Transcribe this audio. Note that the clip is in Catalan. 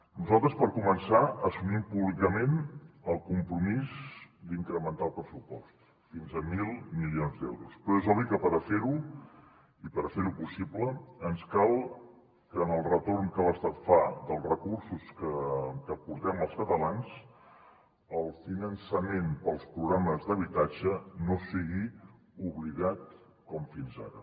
nosaltres per començar assumim públicament el compromís d’incrementar el pressupost fins a mil milions d’euros però és obvi que per fer ho possible ens cal que en el retorn que l’estat fa dels recursos que aportem els catalans el finançament per als programes d’habitatge no sigui oblidat com fins ara